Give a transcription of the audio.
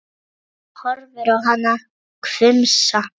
Hann horfir á hana hvumsa.